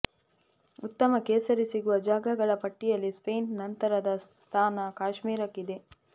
ಉತ್ತಮ ಕೇಸರಿ ಸಿಗುವ ಜಾಗಗಳ ಪಟ್ಟಿಯಲ್ಲಿ ಸ್ಪೇನ್ ನಂತರದ ಸ್ಥಾನ ಕಾಶ್ಮೀರಕ್ಕಿದೆ